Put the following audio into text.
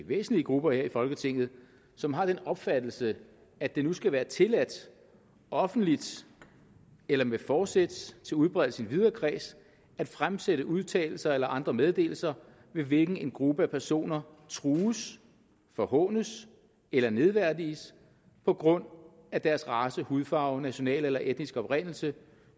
væsentlige grupper her i folketinget som har den opfattelse at det nu skal være tilladt offentligt eller med forsæt til udbredelse i en videre kreds at fremsætte udtalelser eller andre meddelelser med hvilken en gruppe af personer trues forhånes eller nedværdiges på grund af deres race hudfarve nationale eller etniske oprindelse